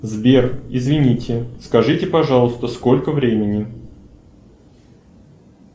сбер извините скажите пожалуйста сколько времени